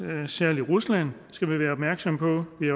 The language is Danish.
særlig rusland skal vi være opmærksomme på vi